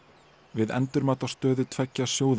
við endurmat á stöðu tveggja sjóða